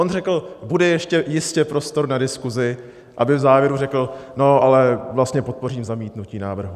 On řekl: Bude ještě jistě prostor na diskuzi, aby v závěru řekl: No, ale vlastně podpořím zamítnutí návrhu.